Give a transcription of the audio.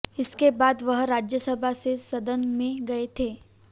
इसके बाद वह राज्यसभा से सदन में गए थे